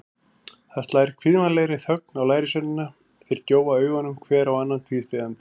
Það slær kvíðvænlegri þögn á lærisveinana, þeir gjóa augunum hver á annan tvístígandi.